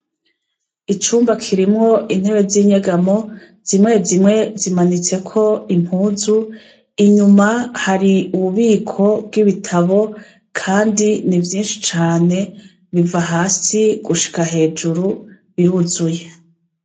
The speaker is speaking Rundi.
Icumba kirimwo intebe z'inyagamo, zimwe zimwe zimanitseko impuzu, inyuma hari ububiko bw'ibitabo kandi ni vyinshi cane, biva hasi gushika hejuru biruzuye.